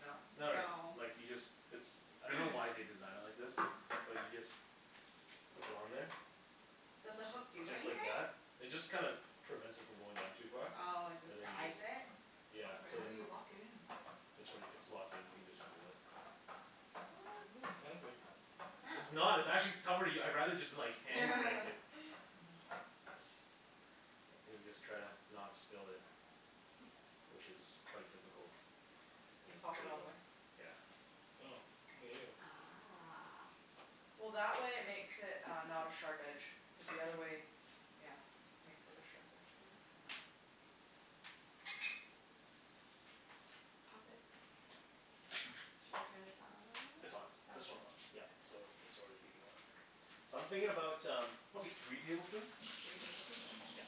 Nope. No no no, No. like you just, it's, I don't know why they designed it like this. But you just hook it on there Does the hook do just like anything? that. It just kinda prevents it from going down too far. Oh, it just And then you guides just it? Yeah. Wait, So how do then you lock it in? It's like, it's locked in. You can just do it. What? Oh, fancy. It's Oh. not. It's actually cover- I'd rather just hand crank it. Mhm. And you just try to not spill it. Which is quite difficult. You Yeah, pop there it you all the go. way? Yeah. Oh. Look at you. Ah. Well, that way it makes it uh not a sharp edge. Cuz the Yeah. other way, yeah, makes it a sharp edge maybe? I dunno. Pop it. Shall we turn this on? It's on. This one's Okay. on. Yeah. So it's already heating up. So I'm thinking about um probably three tablespoons. Three tablespoons? Yeah. Okay.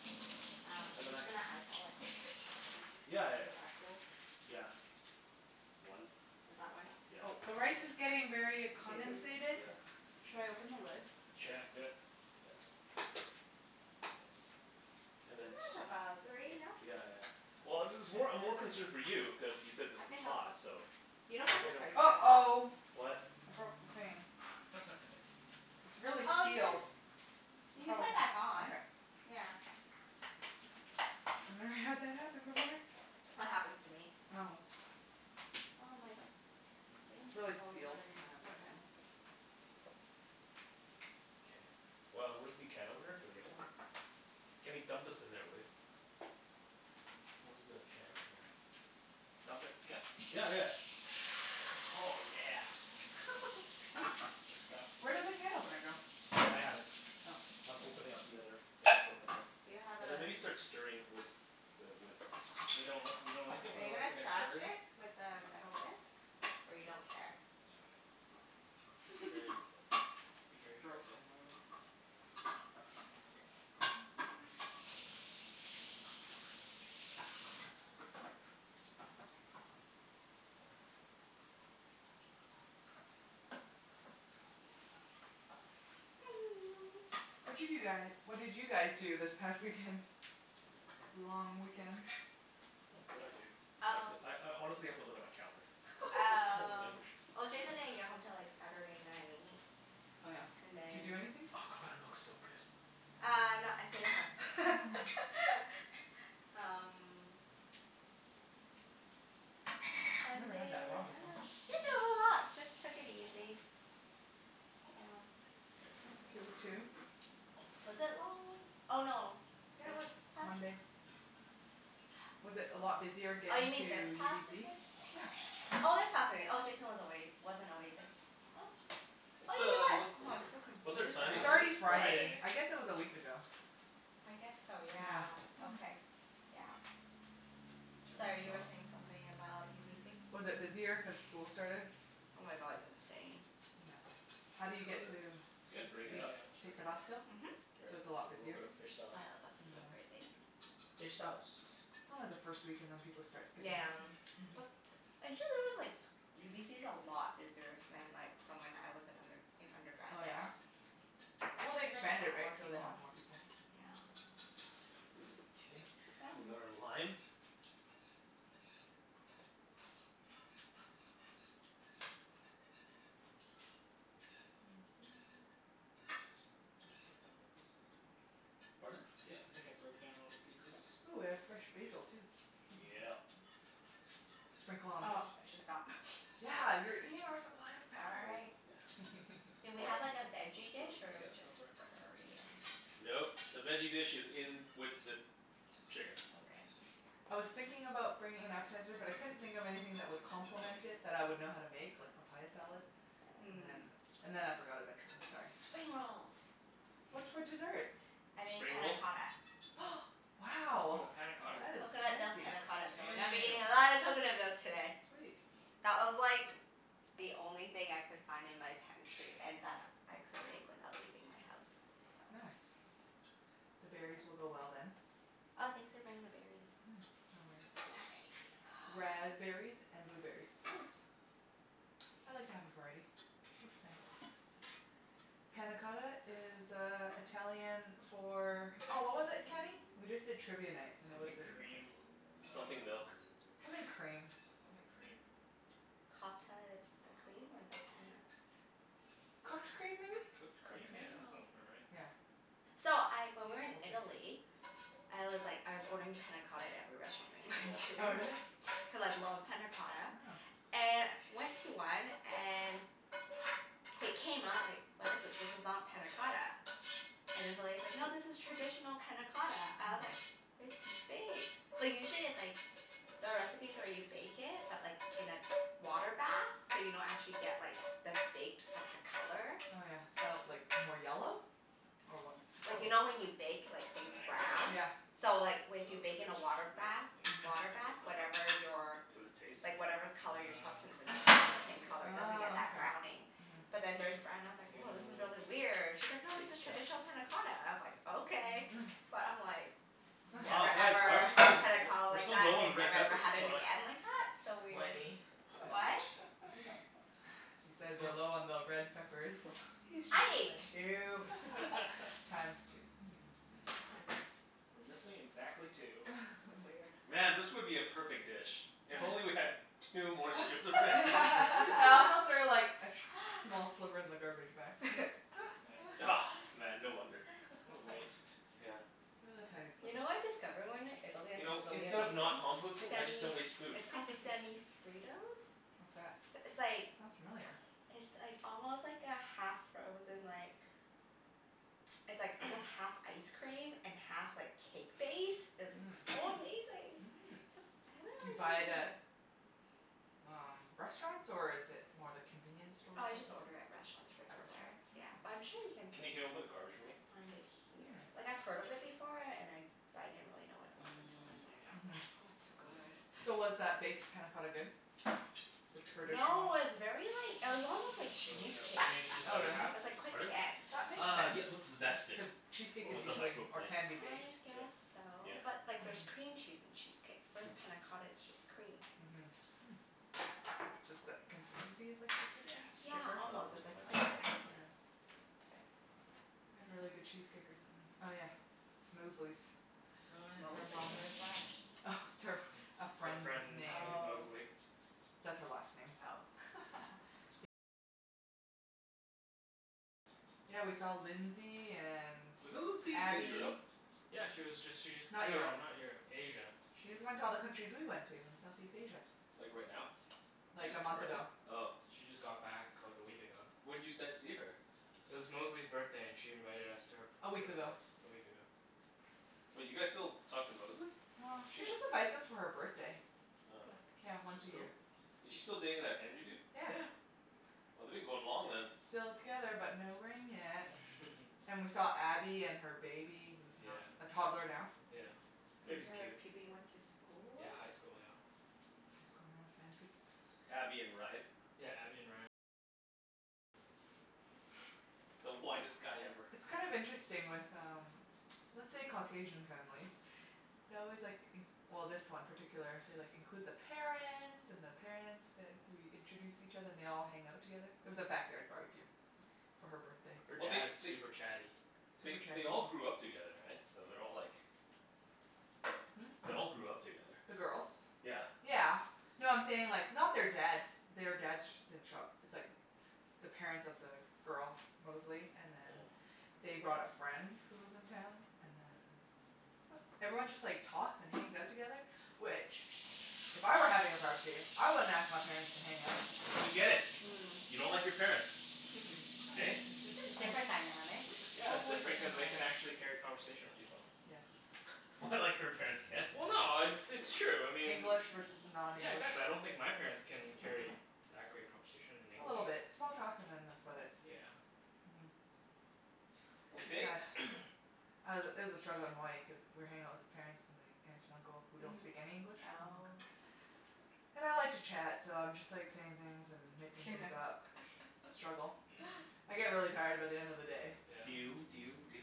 Um, I'm just gonna eyeball it. Yeah yeah Is yeah. that cool? Yeah. One. Is that one? K. Yeah, Oh, the rice that's is a good one. getting very a Two. Two, comensated. yeah. Should I open the lid? Sure. Yeah, do it. Yeah. Nice. And And then that's t- about three, no? Yeah yeah yeah. Well, this is more, I'm more concerned for you cuz you said this I think is I'm hot, so You Yeah, don't find I this don't spicy at all? uh-oh. What? I broke the thing. Nice. It's really Oh, you sealed. can you I can probably put it can, back on. okay. Yeah. I've never had that happen before. That happens to me at Oh. home. Oh my, this thing It's keeps really falling out sealed. again. And I It's have so wet hands. annoying. K. Well, where's the can opener for the other one? Kenny, dump this in there, will ya? Where's the Whoops. can opener? Dump it, yeah? Yeah yeah yeah. Oh yeah. That's the stuff. Where did the can opener go? I have it. Oh. I'm opening up the other can of coconut milk. Do you have a And then maybe start stirring with the whisk. But you don't, you don't like it Are when it you looks gonna like a scratch turd? it with the metal whisk? Or you don't care? It's fine. Be very, be very Girls careful. can Watcha do guy, what did you guys do this past weekend? Long weekend? What did I do? I have to, Oh I I honestly have to look at my calendar. I don't Um, remember. well Jason didn't get home til like Saturday night Oh yeah. and Did you do then Oh, anything? Oh, that coconut milk's looks so so good. good. Uh no, I stayed at home. Um Never had that Sunday raw I before. dunno. Didn't do a whole lot. Just took it easy. Yeah. That's cool too. Was it long wee- oh no, Yeah, it this was. past Monday. Was it a lot busier Oh, you getting to mean this past UBC? weekend? Yeah. Oh, this past wee- oh, Jason was away, wasn't away this, oh Oh What's yeah, he a, was. what, Oh, I'm so what's our confused now. timing It's It already is like? Friday. Friday. I guess it was a week ago. I guess so, yeah. Yeah. Okay. Yeah. Turn Sorry, this you were off. saying something about UBC? Was it busier cuz school started? Oh my god, it's insane. Yeah. How do you Was get it, to, It's did good. it break Yeah, it you st- yeah, up? yeah, I'm just take the breaking it bus up. still? Mhm. Oh Here, So yeah, it's a lot a little busier? bit of fish sauce. the bus On is so Yep. the bus. crazy. Fish sauce. It's only the first week and then people start skipping Yeah. out. But, actually there was like s- UBC's a lot busier than like from when I was in under- an undergrad Oh, yeah? there. Well, they Seems like there's a expanded, lot right? more So they people. have more people. Okay. We've got our lime. Yeah. Nice. I think I broke down all the pieces, I think. Pardon? Yeah, I think I broke down all the pieces. Ooh, we have fresh Should be good. basil, too. Yeah. Sprinkle on Oh, top. I should stop. Yeah, you're eating our supply of peppers. Sorry. Yeah. Do we All right, have like a let's veggie put dish Yep. this in. or Go just for it. curry and Nope, the veggie dish is in with the chicken. Okay. I was thinking about bringing an appetizer, but I couldn't think of anything that would complement it that I would know how to make, like papaya salad. And then Mm. and then I forgot eventually. Sorry. Spring rolls. What's for dessert? I made Spring panna rolls? cotta. Hm. Wow. Woah, panna cotta? That is Coconut milk fancy. panna cotta, so we're gonna be Damn. eating a lot of coconut milk today. Sweet. That was like the only thing I could find in my pantry and that I could make without leaving my house, so Nice. The berries will go well, then. Oh, thanks for bringing the berries. Yeah. No worries. I didn't have any. Ah. Raspberries and blueberries. Nice. I like to have a variety. Looks nice. Panna cotta is uh Italian for Oh, what was it, Kenny? We just did Trivia Night and it was Something a quest- cream uh Something milk. Something cream. Yeah, something cream. Cotta is the cream, or the Um panna is? Cooked cream, maybe? Cooked Cooked cream? Yeah, cream? that Oh. sounds about right. Yeah. So, I, when we Or were in baked. Italy I was like, I was ordering panna cotta at every restaurant we went Oh, to. really? Cuz I love Yeah. panna cotta. And went to one and it came out, I was like, "What is this? This is not panna cotta." And then the lady's like, "No, this is traditional panna cotta." I was like, Mm. "It's baked." Like usually it's like the recipes where you bake it, but like in a water bath. So you don't actually get like the baked, but the color. Oh yeah, So like, more yellow? Or what's the color? Like you know when you bake like things brown? Yeah. Nice. So like w- if Well, you we bake in can a switch water to this, bath I think. Mhm. water bath, whatever your Would it taste? like whatever color your substance Um is it stays the same Yeah. color. It doesn't get Ah, that okay. browning. Mhm. But then theirs brown and I was I'll like, give it "Woah, a this is little really weird." She's like, "No, this is taste test. Smells, traditional panna yeah. cotta." I was like, "Okay." But I'm like Wow, never, guys, why are ever we so l- had panna w- cotta we're like so that, low on the and red never, ever peppers. had What's it going on? again like that. So weird. Wenny. What? He said we're Phil's low on the red peppers. He's just I ate playing. two. Times two. We're missing exactly two. Man, this would be a perfect dish if only we had two more strips of red pepper. I also threw like a sh- small sliver in the garbage by accident. Yep. Nice. Man, no wonder. What a waste. Yeah. It was a tiny You sliver. know what I discovered when we were in Italy You that's like know, really instead of not amazing? composting, I just Semi, don't waste food. it's called Semi Fritos. What's that? S- It's like Sounds familiar. it's like almost like a half-frozen like it's like almost half ice cream and half like cake base. It's like Mmm. so amazing. Mm. Except I haven't Do really you seen buy it it at here. um restaurants, or is it more the convenience store Oh, I type just of order thing? at restaurants for At restaurants? desserts, yeah. But Oh. I'm sure you can Kenny, can you open the garbage for me? find it here. Hmm. Like, I've heard of it before and I but I didn't really know what it was until I was Mm. there. Oh, Mhm. it's so good. So was that baked panna cotta good? The No, traditional it was very like, it was almost like Throw this cheesecake. out. You need this Oh, other really? half? It was like quite Pardon? dense. That makes Uh, sense. yeah let's zest it. Cuz cheesecake is With the Woah. usually, or microblade. can be, baked. I Do it. guess so. Yeah. But like there's Mhm. cream cheese in cheesecake. Whereas panna cotta is just cream. Mhm. Hmm. Ju- th- consistency is like cheesecake then? Yeah, Zest. Thicker? Oh, almost. It where's was the like plain microblade? Here. Yeah. K. We had really good cheesecake recently. Oh yeah, Mosley's. Oh Her yeah. Mosley's? mom. Where's that? Oh, it's her, It's a our friend's friend name. named Oh. Mosley. Oh. Yeah, we saw Lindsay and Wasn't Lindsay in Abby. Europe? Yeah, she was just, she just, Not no, Europe. not Europe. Asia. She just went to all the countries we went to in Southeast Asia. Like right now? Like, She's a month currently? ago. Oh. She just got back like a week ago. When'd you guys see her? It was Mosley's birthday and she invited us to her A p- week her ago. place a week ago. Wait, you guys still talk to Mosley? Well, she just invites us for her birthday. Oh. Yeah, Yeah, she's once a she's year. cool. Is she still dating that Andrew dude? Yeah. Yeah. Well they've been going long then. Still together but no ring yet. And we saw Abby and her baby, who's Yeah. not a toddler now. Yeah. These Baby's are cute. people you went to school Yeah, with? high school. Yeah. High school North Van peeps. Abby and Ryan. The whitest guy ever. It's kind of interesting with um let's say Caucasian families they always like in- well, this one particular, they like, include the parents and the parents, like we introduce each other. And they all hang out together. It was a backyard barbecue. For her birthday. Her Well they dad's they super chatty. they Super chatty they all people. grew up together, right? So they're all like Hmm? They all grew up together. The girls? Yeah. Yeah. No, I'm saying like, not their dads, their dads sh- didn't show up. It's like the parents of the girl, Mosley, and then Mm. they brought a friend who was in town, and then everyone just like talks and hangs out together, which if I were having a barbecue, I wouldn't ask my parents to hang out. We get it. Mm. You don't like your Yeah. parents. Hey? it's just Just different different dynamic. Yeah, it's Totally different cuz different they can dynamic. actually carry a conversation with people. Yes. What, like her parents can't? Well no, it's it's true. I mean English versus Yeah, non-english. exactly. I don't think my parents can carry that great conversation in A English. little bit. Small talk and then that's about it. Yeah. Mhm. It's Okay. sad. I was it was a struggle in Hawaii cuz we were hanging out with his parents and the aunt and uncle, who don't Mhm. speak any English, from Hong Kong Oh. And I like to chat so I'm just like saying things and making things up. Struggle. I It's get fine. really tired by the end of the day. Yeah. Do you do you do you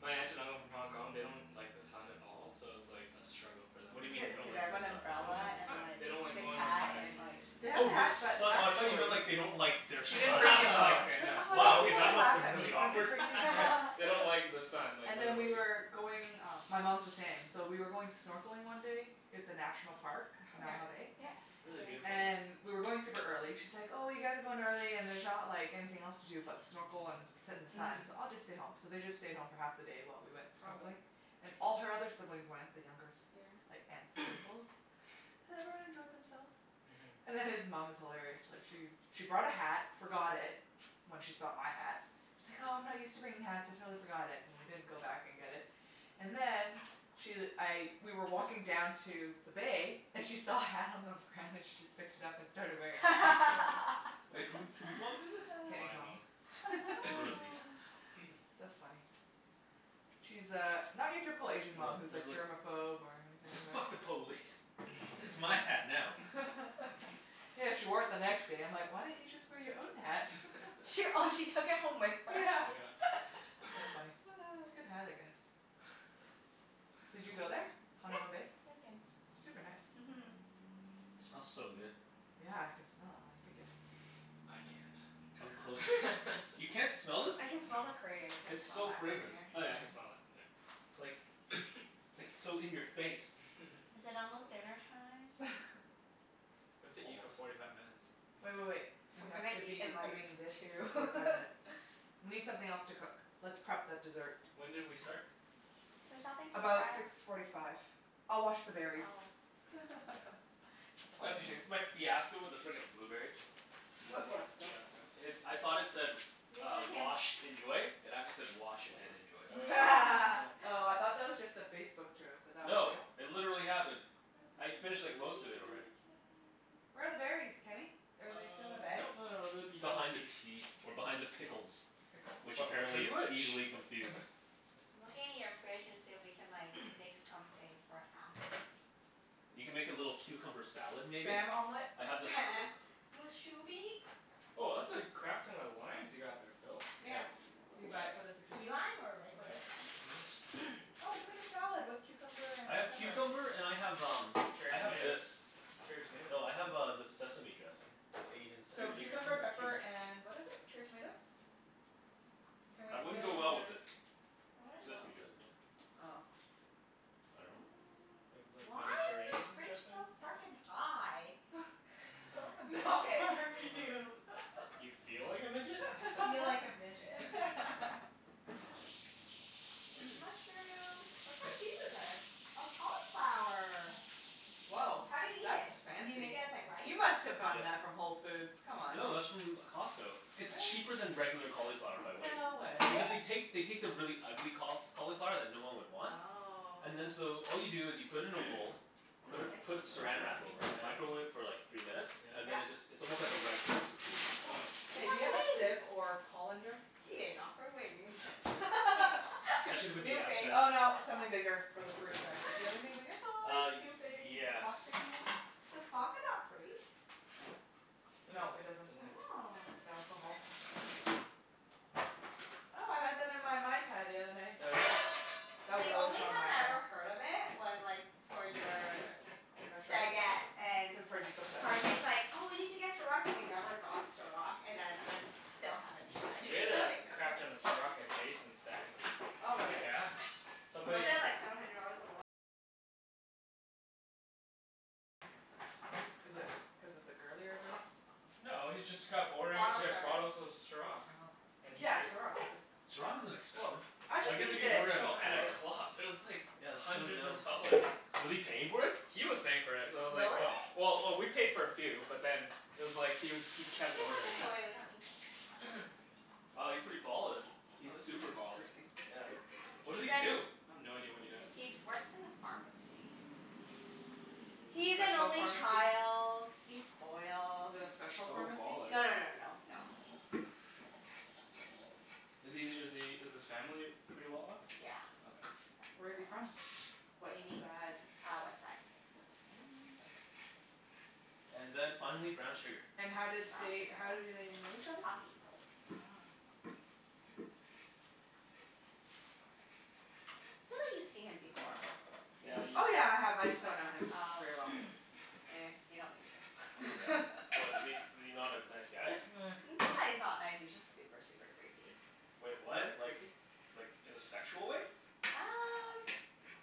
My aunt and uncle from Hong Kong, they don't like the sun at all so it was like a struggle for them What do you being mean in they don't Did they Hawaii. like have the an sun? They don't umbrella like the and sun. like They don't like thick going hat outside. and like They have Oh, the the hat, but sun. I thought you actually meant like they don't like their She didn't son, and bring I the was like umbrella. Okay, She's like, no. "I don't They wow, want okay, don't people to that like must've laugh been at really me, so I awkward. didn't bring the umbrella." they don't like the sun, like And then we literally. were going, uh my mom's the same, so we were going snorkeling one day It's a National Park, Yeah. Hanauma Bay. Yeah. Really Been there. beautiful, yeah. And we were going super early. She's like, "Oh, you guys are going early and there's not like anything else to do but snorkel and sit in the sun, Mhm. so I'll just stay home." So they just stayed home for half the day while we went Probably. snorkeling. And all her other siblings went, the younger Yeah. s- like aunts and uncles. And everyone enjoyed themselves. Mhm. And then his mom is hilarious. Like she's she brought a hat, forgot it when she saw my hat she's like, "Oh, I'm not used to bringing hats. I totally forgot it." And we didn't go back and get it. And then she, I, we were walking down to the bay and she saw a hat on the ground, and she just picked it up and started wearing it. Wait, whose whose mom did this? Kenny's My mom. mom. Rosie. So funny. She's uh not your typical Asian mom Well, who's she's like like germophobe or anything like "Fuck the police!" "It's my hat now." Yeah, she wore it the next day. I'm like, "Why don't you just wear your own hat?" She, oh she took it home with her? Yeah. Yeah. So funny. Good hat, I guess. Did you go there? Yeah, Hanauma Bay? I've been. Super nice. Mhm. It smells so good. Yeah, I can smell it while you pick it. I can't. Come closer. You can't smell this? I can smell No. the curry. I can't It's smell so that from fragrant. here. Oh yeah, I can Yeah? smell that. Yeah. It's like, it's like so in your face. Is it almost dinnertime? We have to eat for Almost. forty five minutes. Wait wait wait. I'm We have gonna to eat be in like doing this for two. forty five minutes. We need something else to cook. Let's prep the dessert. When did we start? There's nothing to About prep. six forty five. I'll wash the berries. Oh. Mm. Oh, yeah. That's It's all I Bah all do can you there. do. s- my fiasco with the frickin' blueberries? M- What what fiasco? fiasco? It, I thought it said Maybe uh, we can "Washed. Enjoy." It actually said, "Wash and enjoy." Oh. Oh, I thought that was just a Facebook joke, but that was No, real? it literally happened. Where are I the we berries? finished can. like most of it already. Where are the berries, Kenny? Are Uh, they still in the bag? nope, no, no, no, they're behind the Behind the tea. tea. Or behind the pickles. Pickles. Which But which is apparently is which? easily confused. I'm looking in your fridge and see if we can like make something for appies. You can make a little cucumber salad, maybe? Spam omelet? I have this Spam! Mus shubi? Woah, that's a crap ton of limes you got there, Phil. Yeah. Yeah. Did you buy it for this Key occasion? lime, or regular Nice. lime? Why Oh, we can make is a salad with cucumber and I have pepper. cucumber and I have um Cherry I have tomatoes. this. Cherry No, tomatoes I as have well. uh this sesame dressing. The Asian So sesame dressing cucumber, with pepper, cumin. and what is it? Cherry tomatoes? Can we That wouldn't go steal your well with the That wouldn't go. sesame dressing, would it? Oh. I dunno. Do you have Mm, like why is this Mediterranean fridge dressing? so frickin' high? Feel like a Not midget. You feel like a midget? I feel like a midget. There's a mushroom. What kind of cheese is this? Oh, cauliflower. Woah. How do you eat That's it? Do you make fancy. it as like rice? You must've gotten that Yeah. from Whole Foods, come on? No, that's from Costco. It's Really? cheaper than regular cauliflower by weight. No way. Because they Really? take, they take the really ugly caul- cauliflower that no one would want and then Oh. so all you do is you put it in a bowl Oh, put I it like this put drawer Saran Wrap over it, Yeah? microwave it for thingie. like three minutes. And Yeah. then it just, Yeah? it's almost like a rice substitute. Mm, cool. Oh. You Hey, do you have have a wings. sieve or colander? He Yes. didn't offer wings. I'm That should have been the appetizer. snooping. Oh, no, something bigger for the fruit, sorry. Do you have anything bigger? Always Uh, snooping. Like, a yes. plasticky one? Does vodka not freeze? No, No, it doesn't. doesn't. Oh. It's alcohol. Oh, I had that in my Mai Tai the other night. Oh yeah? That was The a really only strong Mai time I Tai. ever heard of it was like for your stagette and Cuz Parjeet's obsessed? Parjeet's like, "Oh, we need to get Ciroc," and we never got Ciroc. And then I'm, still haven't tried. We had a I know crap ton of Ciroc at Jason's stag. Oh really? Yeah, somebody Is it cuz it's a girlier drink? No, he's just kept ordering Bottle C- Here. bottles service. of Ciroc. Oh. And he Yeah, pai- Ciroc, is it Ciroc isn't Woah, expensive. I I guess just if need you this, order at a Oh, at a honestly. club. club, it was like Yeah, that's so hundreds dumb. of dollars. Was he paying for it? He was paying for it, so I was like, Really? Oh. well Well, oh we paid for a few, but then it was like he was, he You kept can put ordering this it. away. We don't need this pot. Wow, he's pretty ballin'. He's Oh, this is super baller. Yeah. What does he He's in do? I have no idea what he does. He'd works in a pharmacy. Mm. A He's an special only pharmacy? child. He's spoiled. Is it a He's special so pharmacy? baller. No no no no no no. No. Is he is he is his family pretty well off? Yeah, Okay. his Where is family's he well off. from? What Whaddya mean? sad? Ah, west side. West side. And then finally, brown sugar. And how did Brown they, sugar? how do Oh. they know each other? Hockey. Oh. I feel like you've seen him before. You Yeah, must you've Oh, yeah, have. I me- have. I Oh just don't know him yeah. Oh. very well. Ehh, you don't need Yeah. to. What, is he, is he not a nice guy? Eh. It's not that he's not nice, he's just super, super creepy. Wait, what? Really? Like Creepy? like in a sexual way? Um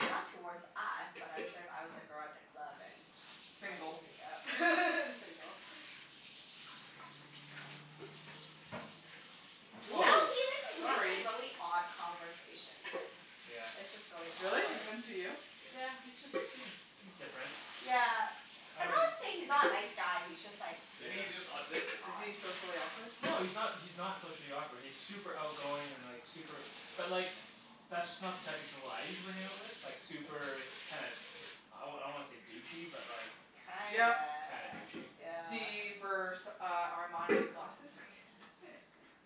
not towards us, but I'm sure if I was a girl at the club and I'd be Single. creeped out. And single. I Woah, dunno Well he make, like makes like sorry. really odd conversations and Yeah. it's just really Really? awkward. Even to you? Yeah, he's just, he's he's different. Yeah. I I'm don't not Is he saying he's not a nice guy, he's just like Maybe Yeah. he's just autistic. Is he odd. socially awkward? No, he's not, he's not socially awkward. He's super outgoing and like super But like, that's just not the type of people I usually hang out with. Like super kinda, I wa- I don't wanna say douchey, but like Kinda, Yep. Kinda douchey. yeah. The Vers- uh Armani glasses?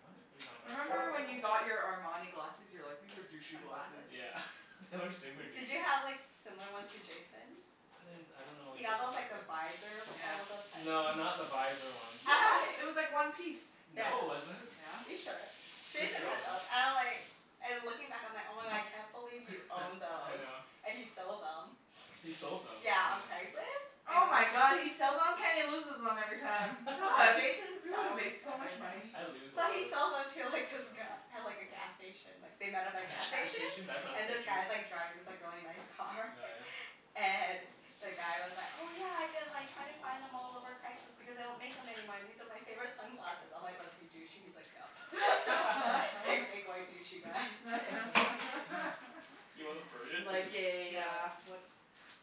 What? What are you talking about? Remember, when you got your Armani glasses? You were like, "These are douchey glasses." Sunglasses? Yeah. They were super Did douchey. you have like similar ones to Jason's? I didn't s- I don't know what He Jason's got those look like. like the visor Yeah. No, not the visor ones. Yeah. It was like one piece. Yeah. No it wasn't. Are you Yeah. sure? Pretty Jason sure it had those. wasn't. And I'm like and looking back I'm like, "Oh my god, I can't believe you owned I those." know. And he sold them. He sold them. Yeah, on Craigslist. Oh my And god, he sells on? Kenny loses them every time. Ah, Oh, Jason we would have sells made so much everything. money. I lose a So lot he of s- sells them to like this sunglasses. guy at like a gas station like they met At at a gas a gas station, station? That's not and this sketchy. guy's like driving this like really nice Oh car. yeah? And the guy was like, "Oh yeah, I've been like trying to find them all over Craigslist because they don't make them anymore and these are my favorite sunglasses." I'm like, "Was he douchey?" He's like, "Yep." He's like a big white douchey guy. He wasn't Persian? Like a uh No. what's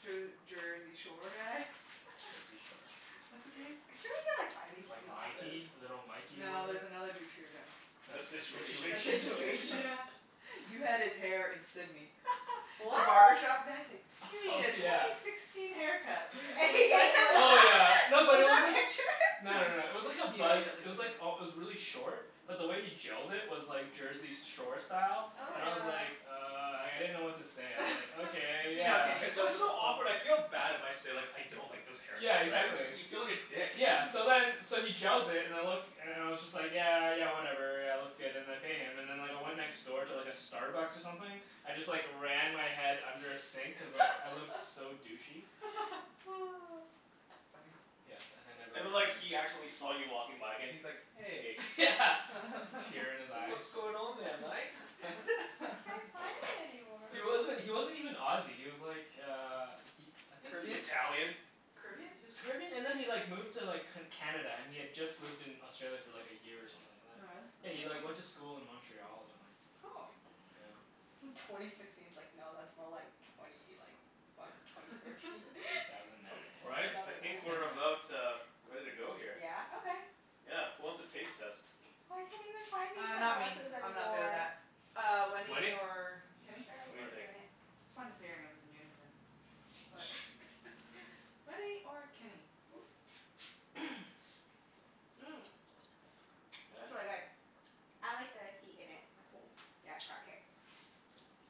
Jer- Jersey Shore guy? Jersey Shore. What's his name? I'm sure we could like find these Like sunglasses. Mikey. Little Mikey, or No, whatever? there's another douchier guy. The The the Situation? The The Situation? Situation, Situation? yeah. You had his hair in Sidney. The What? barbershop guy's like, "You need Oh a twenty yeah. sixteen haircut." And And he he gave went him like Oh this. yeah. that? No, but it Is there a wasn't picture? No no no, it was like a He buzz, immediately it was like al- it was really short. But the way he gelled it was like Jersey s- Shore style. Oh And my I Yeah. was god. like "Uh," like, I didn't know what to say, I was like, "Okay, You know yeah." Kenny. He It's goes always with so the flow. awkward. I feel bad if I say like "I don't like this haircut," Yeah, right? exactly. You feel like a dick. Yeah. So then, so he gels it and it look and and I was just like "Yeah, yeah whatever, yeah it looks good." And I pay him. And then like I went next door to like a Starbucks or something. I just like ran my head under a sink cuz like I looked so douchey. Funny. Yes, and I never And then like returned. he actually saw you walking by again. He's like, "Hey." Yeah, a tear in his eye. "What's going on there, mate?" Can't find it anymore. He wasn't, he wasn't even Aussie, he was like uh he, I think he Caribbean? Italian? Caribbean? He was Caribbean and then he like moved to like C- Canada, and he had just lived in Australia for like a year or something like that. Oh, Yeah, really? he Oh. like went Mm. to school in Montreal or something. Oh. Yeah. Twenty sixteen's like no, that's more like twenty like what? Yeah. Twenty thirteen? Two thousand nine. Twenty, All right. two I thousand nine? think we're about uh ready to go here. Yeah? Okay. Yeah. Who wants a taste test? I can't even find these Uh, not me. sunglasses I'm not good at anymore. that. Uh, Wenny Wenny? or Kenny? Sure, I Go What do for you can it. do think? it. It's fun to say our names in unison. What? Wenny or Kenny? Ooh. Mmm, that's really Yeah? good. I like the heat in it and ooh, yeah, it's got kick.